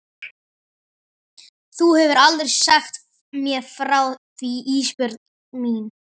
Þú hefur aldrei sagt mér frá því Ísbjörg mín.